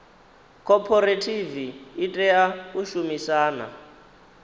khophorethivi i tea u shumisana